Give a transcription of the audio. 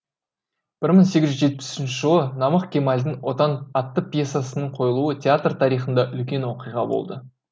бір мың сегіз жүз жетпіс үшінші жылы намық кемалдың отан атты пьесасының қойылуы театр тарихында үлкен оқиға болды